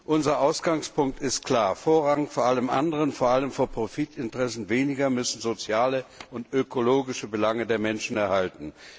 Unser Ausgangspunkt ist klar Vorrang vor allem anderen, vor allem vor Profitinteressen weniger, müssen die sozialen und ökologischen Belange der Menschen erhalten.